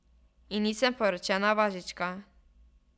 In nisem poročena važička.